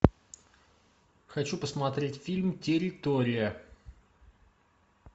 хочу посмотреть фильм территория